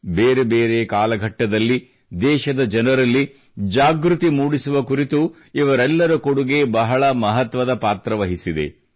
ಬೇರೆ ಬೇರೆ ಕಾಲಘಟ್ಟದಲ್ಲಿ ದೇಶದ ಜನರಲ್ಲಿ ಜಾಗೃತಿ ಮೂಡಿಸುವ ಕುರಿತು ಇವರೆಲ್ಲರ ಕೊಡುಗೆ ಬಹಳ ಮಹತ್ವದ ಪಾತ್ರವಹಿಸಿದೆ